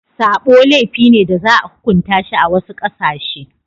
Sabo laifi ne da za a hukunta shi a wasu ƙasashe.